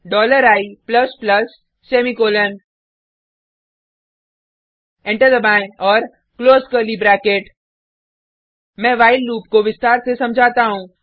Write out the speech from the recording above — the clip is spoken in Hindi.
dollar i plus plus semicolon enter दबाएँ और क्लोज कर्ली ब्रैकेट मैं व्हाइल लूप को विस्तार से समझाता हूँ